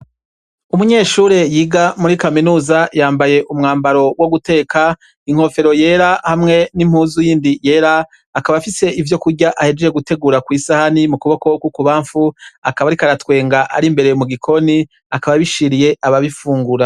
Umunyeshure yiga muri kaminusa yambaye umwambaro wo guteka inkofero yera hamwe n'impuzu y'indi yera akaba afise ivyo kurya ahejeje gutegura kw'isahani mu kubokokwouku bamfu akaba arikaratwenga ari imbereye mu gikoni akaba abishiriye ababifungura.